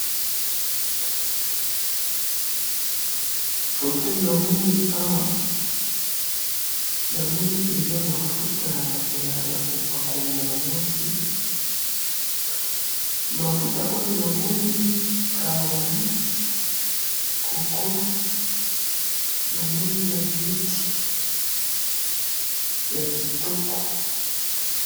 photo namoni awa, namoni eza mafuta yako pakola ya ba mwasi, mafuta oyo na moni carolight, coco namoni na beauty, ya kitoko